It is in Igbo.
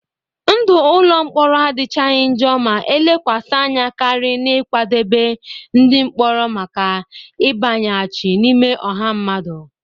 Ndụ ụlọ mkpọrọ adịchaghị njọ ma elekwasị anya karị n'ịkwadebe ndị mkpọrọ maka ịbanyeghachi n'ime ọha mmadụ.